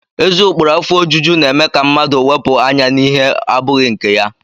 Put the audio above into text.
Ezi ụkpụrụ afọ ojuju na-eme ka mmadụ wepụ anya n'ihe abụghị nke ya